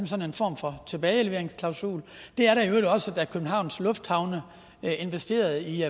sådan en form for tilbageleveringsklausul det er der i øvrigt også med at københavns lufthavne investerede i